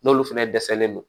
N'olu fɛnɛ dɛsɛlen don